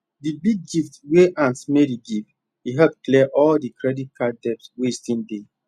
the big gift wey aunt mary give e help clear all the credit card debt wey still dey